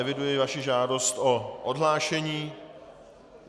Eviduji vaši žádost o odhlášení.